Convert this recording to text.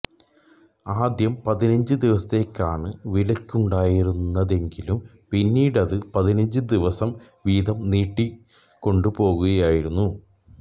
ആദ്യം പതിനഞ്ച് ദിവസത്തേയ്ക്കാണ് വിലക്കുണ്ടായിരുന്നതെങ്കിലും പിന്നീടത് പതിനഞ്ച് ദിവസം വീതം നീട്ടിക്കൊണ്ട് പോവുകയായിരുന്നു